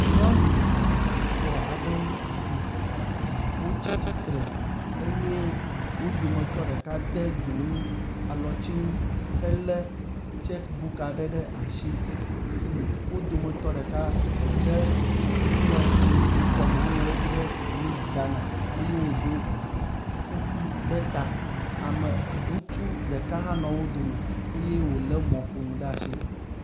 Nyɔnu etɔ̃ aɖewo si wotsi tsitre eye wo dometɔ ɖeka de dzonu alɔtsinu he le tsek buk aɖe ɖe asi si wo dometɔ ɖeka de nuŋlɔdzesi kɔme woŋlɔ ɖe edzi be miss Ghana eye woɖo kuku ɖe ta. Ame ŋutsu ɖeka hã nɔ wo dome eye wo le mɔƒonu ɖe asi.